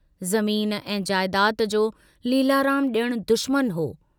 ज़मीन ऐं जायदाद जो लीलाराम जणु दुश्मनु हो।